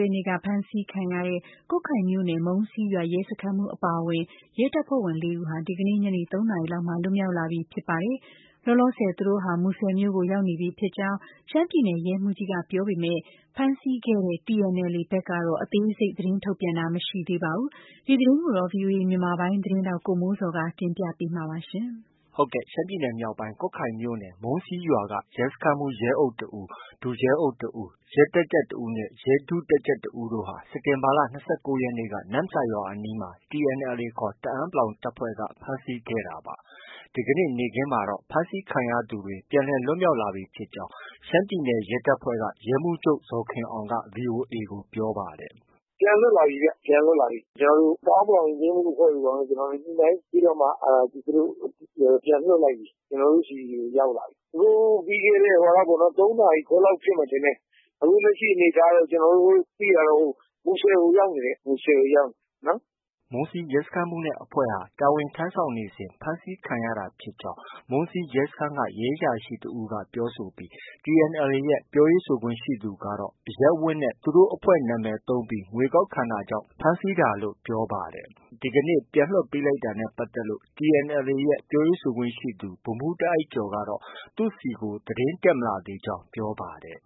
ရက်နေ့က ဖမ်းဆီးခံတဲ့ ကွတ်ခိုင်မြို့နယ် မုံးစီးရွာ ရဲစခန်းမှူးအပါအဝင် ရဲတပ်ဖွဲ့ဝင် ၄ ဦးဟာ ဒီကနေ့ ညနေ ၃နာရီလောက်မှာ လွတ်မြောက်လာပြီ ဖြစ်ပါတယ်။ လောလောဆယ်သူတို့ဟာ မူဆယ်မြို့ကို ရောက်ရှိနေပြီဖြစ်ကြောင်း ရှမ်းပြည်နယ် ရဲမှူးကြီးက ပြောဆိုပေမဲ့ ဖမ်းဆီးခဲ့တဲ့ TNLA ဘက်ကတော့ အသေးစိတ် သတင်းထုတ်ပြန်တာ မရှိပါဘူး။ ဒီသတင်းကိုတော့ ဗွီအိုအေမြန်မာပိုင်းရဲ့သတင်းထောက် ကိုမိုးဇော်က တင်ပြမှာ ဖြစ်ပါတယ်။ ရှမ်းပြည်နယ်မြောက်ပိုင်း ကွတ်ခိုင်မြိုနယ် မုံးစီးရွာက ရဲစခန်းမှူး ရဲအုပ် တဦး၊ ဒုရဲအုပ် တဦး။ ရဲတပ်ကြပ် တစ်ဦးနဲ့ ရဲ ဒုတပ်ကြပ်တစ်ဦးတို့ဟာ စက်တင်ဘာလ ၂၉ ရက်နေ့က နမ့်ဆာရွာအနီးမှာ TNLA ခေါ် တအန်း တပ်ဖွဲ့က ဖမ်းဆီးခဲ့တာပါ။ ဒီကနေ့နေ့ခင်းမှာတော့ ဖမ်းဆီးခံရသူတွေ အားလုံး ပြန်လည် လွတ်မြောက်လာပြီဖြစ်ကြောင်း ရှမ်းပြည်နယ် ရဲတပ်ဖွဲ့က ရဲမှူးချုပ် ဇော်ခင်အောင်က VOA ကို ပြောပါတယ်။ “ပြန်လွတ်လာပြီဗျ။ ပြန်လွတ်လာပြီ။ ကျနော်တို့ တအန်း ယဉ်ကျေးမှုအဖွဲ့တို့ ဘာတို့နဲ့ ညှိနှိုင်းပြီးတော့မှ သူတို့ ပြန်လွှတ်လိုက်ပြီ။ ကျနော်တို့ ဆီကို ရောက်လာပြီ။ ပြီးခဲ့တဲ့ ၃ နာရီ ခွဲလောက်ဖြစ်မယ် ထင်တယ်။ အခုလက်ရှိအနေအထားတော့ ကျနော်တို့ သိတာတော့ မူဆယ်ကို ရောက်နေတယ်။ မူဆယ်ကို ရောက်နေတယ်နော်။” မုံးစီး ရဲစခန်းမှူးနဲ့ အဖွဲ့ဟာ တာဝန်ထမ်းဆောင်နေစဉ် ဖမ်းဆီးခံရတာဖြစ်ကြောင်း မုံးစီးရဲစခန်းက ရဲအရာရှိတစ်ဦးက ပြောဆိုပြီး TNLA ရဲ့ ပြောခွင့်ရသူကတော့ အရပ်ဝတ်နဲ့ သူတို့ အဖွဲ့နာမည်သုံးပြီး ငွေကောက်ခံတာကြောင်း ဖမ်းဆီးတာလို့ ပြောပါတယ်။ ဒီနေ့ ပြန်လွှတ်လိုက်တာနဲ့ ပတ်သက်လို့ TNLA ရဲ့ ပြောခွင့်ရသူ ဗိုလ်မှူး တားအိုက်ကျော်ကတော့ သူ့ဆီကို သတင်းမတက်လာသေးကြောင်း ပြောပါတယ်